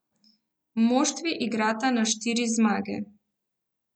Moštvi igrata na štiri zmage.